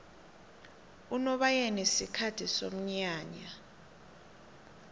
unobayeni sikhathi somnyanya